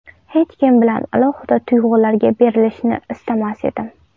Hech kim bilan alohida tuyg‘ularga berilishni istamas edim.